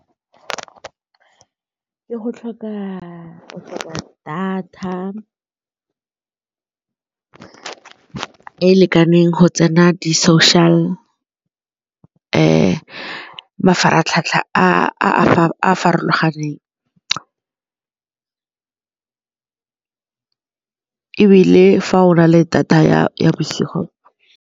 Ke go tlhoka data ke e lekaneng go tsena di-social mafaratlhatlha a a farologaneng ebile fa o na le data ya bosigo.